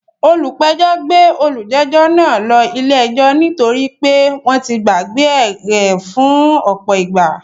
Olùpẹ̀jọ́ náà gbé olùjẹ́jọ́ náà ló ilé ẹjọ́ ní torí pé wọ́n ti gbàgbé e rẹ̀ fún ọ̀pọ̀ ìgbà